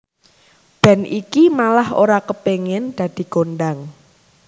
Band iki malah ora kepengin dadi kondhang